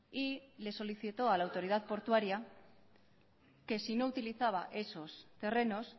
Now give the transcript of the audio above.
y le solicitó a la autoridad portuaria que si no utilizaba esos terrenos